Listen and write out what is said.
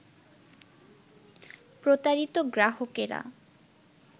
প্রতারিত গ্রাহকেরা